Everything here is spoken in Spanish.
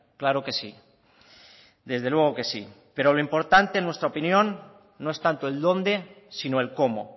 claro que sí desde luego que sí pero lo importante en nuestra opinión no es tanto el dónde sino el cómo